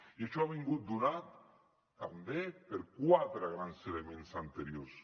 i això ha vingut donat també per quatre grans elements anteriors